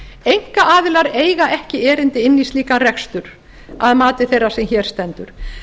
einkaaðilar eiga ekki erindi inn í slíkan rekstur að mati þeirrar sem hér stendur